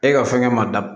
E ka fɛngɛ ma da